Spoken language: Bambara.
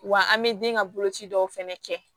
Wa an bɛ den ka bolo ci dɔw fɛnɛ kɛ